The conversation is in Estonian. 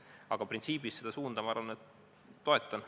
Aga printsiibis ma seda suunda toetan.